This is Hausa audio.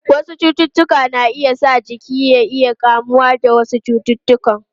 Wasu cututtuka na iya sa jiki ya iya kamuwa da wasu cututtuka.